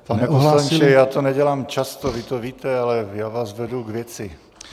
Pane poslanče, já to nedělám často, vy to víte, ale já vás vedu k věci.